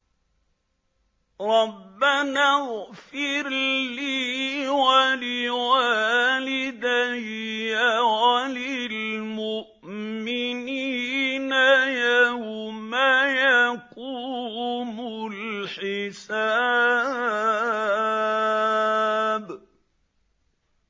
رَبَّنَا اغْفِرْ لِي وَلِوَالِدَيَّ وَلِلْمُؤْمِنِينَ يَوْمَ يَقُومُ الْحِسَابُ